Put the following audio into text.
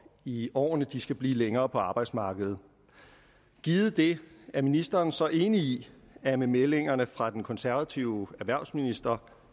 i årene skal blive længere på arbejdsmarkedet givet det er ministeren så enig i at med meldingerne fra den konservative erhvervsminister